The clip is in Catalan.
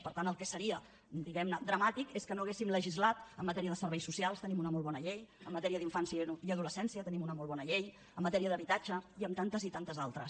per tant el que seria diguem ne dramàtic és que no haguéssim legislat en matèria de serveis socials tenim una molt bona llei en matèria d’infància i adolescència tenim una molt bona llei en matèria d’habitatge i en tantes i tantes altres